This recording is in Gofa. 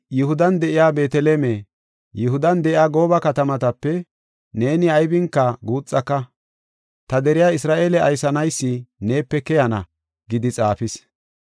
“ ‘Yihudan de7iya Beeteleme, Yihudan de7iya gooba katamatape, neeni aybinka guuxaka. Ta deriya Isra7eele aysanaysi, neepe keyana’ gidi xaafis” yaagidosona.